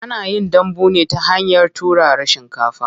Ana yin dambu ne ta hanyar turara shinkafa.